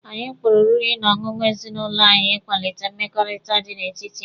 Anyị kpọrọ oriri na ọṅụṅụ n'ezinụlọ anyị ịkwalite mmekọrịta dị n'etiti anyị.